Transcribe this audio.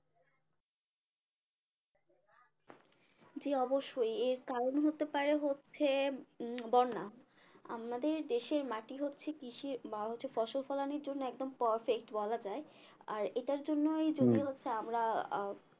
জি অবশ্যই এর কারণ হতে পারে হচ্ছে বন্যা আমাদের দেশের মাটি হচ্ছে কৃষির বা হচ্ছে ফসল ফলানোর জন্য একদম perfect বলা যায় আর এটার জন্যই যদি হচ্ছে আমরা